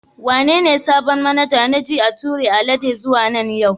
Wane ne sabon manaja na ji an tura Alade zuwa nan yau?